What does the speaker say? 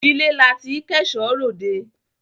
Ilé la tí k'ẹ̀ṣọ́ r'òdẹ.